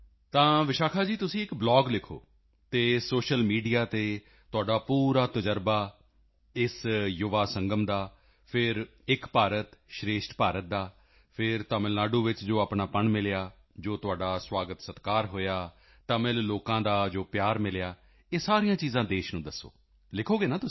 ਵਿਸ਼ਾਖਾ ਜੀ ਤੁਸੀਂ ਇੱਕ ਬਲੌਗ ਲਿਖੋ ਅਤੇ ਸੋਸ਼ਲ ਮੀਡੀਆ ਤੇ ਤੁਸੀਂ ਆਪਣਾ ਪੂਰਾ ਅਨੁਭਵ ਇੱਕ ਤਾਂ ਇਸ ਯੁਵਾ ਸੰਗਮ ਦਾ ਫਿਰ ਏਕ ਭਾਰਤ ਸ਼੍ਰੇਸ਼ਠ ਭਾਰਤ ਅਤੇ ਫਿਰ ਤਮਿਲ ਨਾਡੂ ਵਿੱਚ ਆਪਣਾਪਨ ਜੋ ਮਿਲਿਆ ਜੋ ਤੁਹਾਡਾ ਸਵਾਗਤਸਤਿਕਾਰ ਹੋਇਆ ਤਮਿਲ ਲੋਕਾਂ ਦਾ ਪਿਆਰ ਮਿਲਿਆ ਇਹ ਸਾਰੀਆਂ ਚੀਜ਼ਾਂ ਦੇਸ਼ ਨੂੰ ਦੱਸੋ ਤੁਸੀਂ ਤਾਕਿ ਲਿਖੋਗੇ ਤੁਸੀਂ